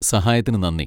സഹായത്തിന് നന്ദി.